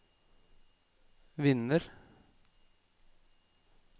vinner